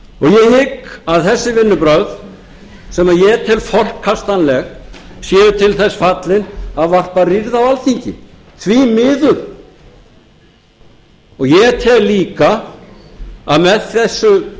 ég hygg að þessi vinnubrögð sem ég tel forkastanleg séu til þess fallin að varpa rýrð á alþingi því miður ég tel líka að með þessu